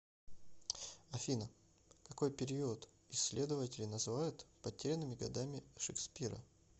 афина какой период исследователи называют потерянными годами шекспира